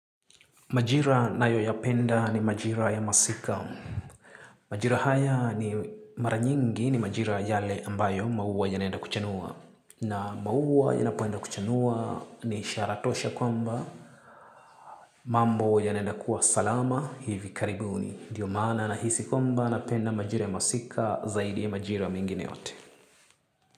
Majira nayoyapenda ni majira ya masika. Majira haya ni mara nyingi ni majira yale ambayo maua yanenda kuchanua. Na maua yanapoenda kuchanua ni ishara tosha kwamba mambo yanenda kuwa salama hivi karibuni. Ndio maana nahisi kwamba napenda majira ya masika zaidi ya majira mengine yote.